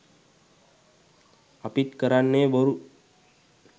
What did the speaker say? අපිත් කරන්නෙ බොරු